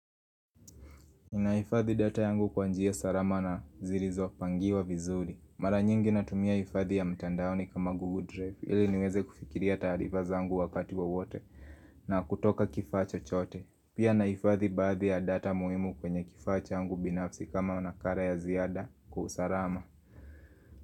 Ninaifadhi data yangu kwa njia sarama na zirizopangiwa vizuri Mara nyingi natumia ifathi ya mtandaoni kama Google Drive ili niweze kufikiria taarifa zangu wakati wo wote na kutoka kifaa chochote Pia naifadhi baadhi ya data muhimu kwenye kifaa changu binafsi kama nakara ya ziada kwa usarama.